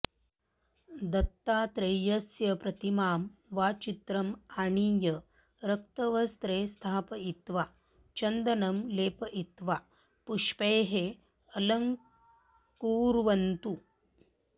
दत्तात्रेयस्य प्रतिमां वा चित्रम् आनीय रक्तवस्त्रे स्थापयित्वा चन्दनं लेपयित्वा पुष्पैः अलङ्कुर्वन्तु